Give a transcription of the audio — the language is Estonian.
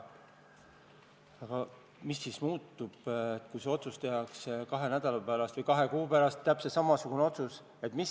Aga mis siis muutub, kui see otsus tehakse kahe nädala pärast või kahe kuu pärast – täpselt samasugune otsus?